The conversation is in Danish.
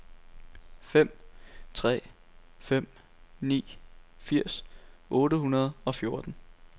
fem tre fem ni firs otte hundrede og fjorten